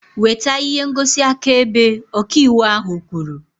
Weta ihe ngosi akaebe! Ọka ịwụ ahu kwuru